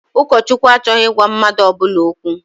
Ụkọchukwu achọghị ịgwa mmadụ ọbụla okwu.